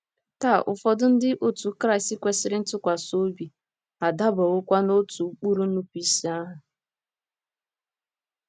Taa, ụfọdụ Ndị Otú Kristi kwesịrị ntụkwasị obi adabawokwa n'otu ụkpụrụ nnupụisi ahụ.